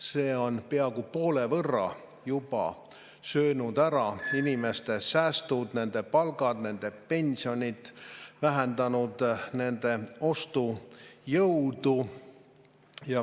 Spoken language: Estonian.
See on juba peaaegu poole võrra söönud ära inimeste sääste, nende palku, nende pensione, see on vähendanud nende ostujõudu.